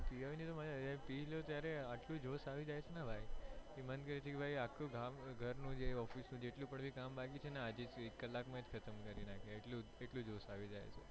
પીવાની મજ્જા આવે પીધા પછી આટલું જોશ આવી જાય છે ને ભાઈ કે મન કરે છે ને આખા ગામ ઘર office ની જેટલું પણ કામ બાકી છે ને આજે એક કલાક માંજ ખતમ કરી નાખીયે